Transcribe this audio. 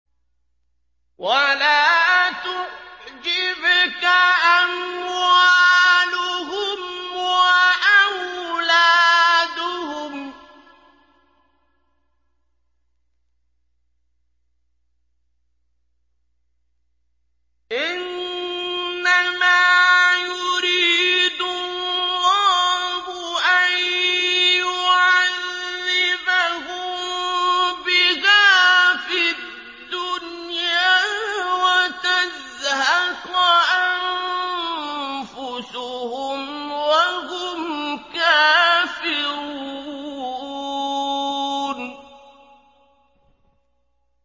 وَلَا تُعْجِبْكَ أَمْوَالُهُمْ وَأَوْلَادُهُمْ ۚ إِنَّمَا يُرِيدُ اللَّهُ أَن يُعَذِّبَهُم بِهَا فِي الدُّنْيَا وَتَزْهَقَ أَنفُسُهُمْ وَهُمْ كَافِرُونَ